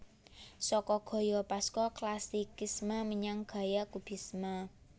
Saka gaya Pasca Classicisme menyang gaya Kubisme